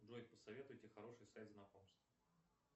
джой посоветуйте хороший сайт знакомств